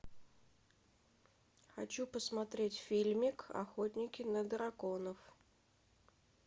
хочу посмотреть фильмик охотники на драконов